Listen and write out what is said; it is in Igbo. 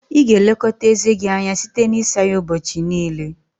Ị ga-elekọta eze gị anya site n'isa ya ụbọchị niile